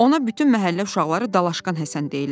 Ona bütün məhəllə uşaqları Dalaşqan Həsən deyirlər.